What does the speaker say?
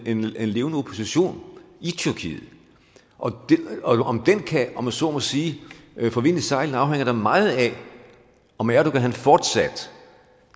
en levende opposition i tyrkiet og om den kan om jeg så må sige få vind i sejlene afhænger da meget af om erdogan fortsat